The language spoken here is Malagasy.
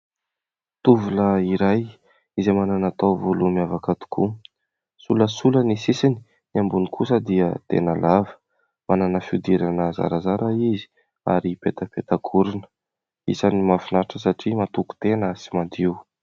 Tovolahy iray izay manana taovolo miavaka tokoa. Solasola ny sisiny; ny ambony kosa dia tena lava; manana fiodirana zarazara izy; ary petapetakorona. Isan'ny mahafinaritra satria matoky tena sy madio.